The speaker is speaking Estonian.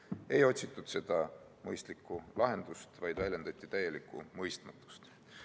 Aga ei otsitud mõistlikku lahendust, vaid väljendati täielikku mõistmatust.